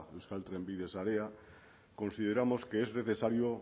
euskal trenbide sarea consideramos que es necesario